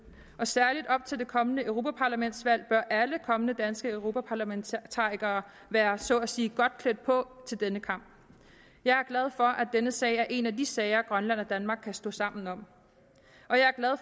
og særlig op til det kommende europaparlamentsvalg bør alle kommende danske europaparlamentarikere være så at sige godt klædt på til denne kamp jeg er glad for at denne sag er en af de sager grønland og danmark kan stå sammen om